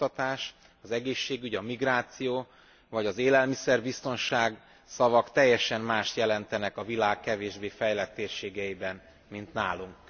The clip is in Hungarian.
Az oktatás, az egészségügy, a migráció vagy az élelmiszerbiztonság szavak teljesen mást jelentenek a világ kevésbé fejlett térségeiben, mint nálunk.